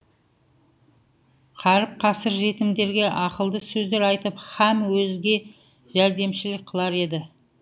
қаріп қасір жетімдерге ақылды сөздер айтып һәм өзге жәрдемшілік қылар еді